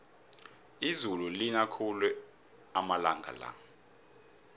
izulu lina khulu amalanga la